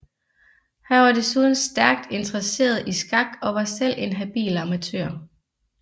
Han var desuden stærkt interesseret i skak og var selv en habil amatør